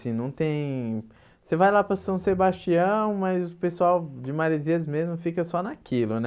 Assim não tem Você vai lá para São Sebastião, mas o pessoal de Marezias mesmo fica só naquilo né.